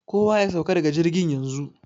Kowa ya sauka daga jirgin yanzu!